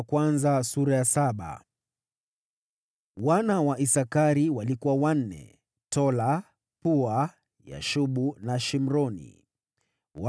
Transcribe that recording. Wana wa Isakari walikuwa: Tola, Pua, Yashubu na Shimroni; wote ni wanne.